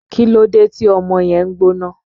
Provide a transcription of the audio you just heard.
Kílódé tí ọmọ yẹn ń gbóná?